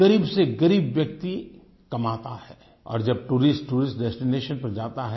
ग़रीब से ग़रीब व्यक्ति कमाता है और जब टूरिस्ट टूरिस्ट डेस्टिनेशन पर जाता है